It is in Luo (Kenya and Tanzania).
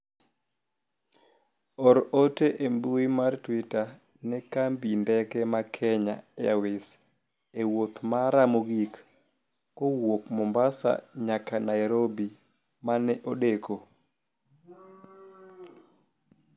or ote e mbui mar twita ne kambi ndeke ma kenya airways e wuoth mara mogik kowuok Mombasa nyaka Nairobi mane odeko